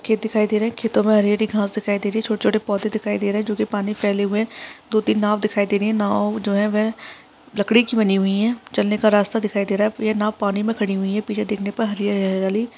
--खेत दिखाई दे रहा है खेतों में हरी-हरी घास दिखाई दे रही है छोटे-छोटे पेड़-पौधे दिखाई दे रहे हैं जो की पानी फैले हुए हैं दो-तीन नांव दिखाई दे रही है नांव जो है वह लकड़ी की बनी हुई है चलने का--रास्ता दिखाई दे रहा है यह नाव पानी में खड़ी हुई है पीछे देखने पर हरियाली ही हरियाली--